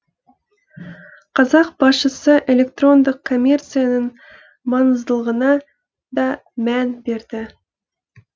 қазақ басшысы электрондық коммерцияның маңыздылығына да мән берді